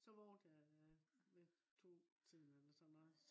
så vågnede jeg ved 2 tiden eller sådan noget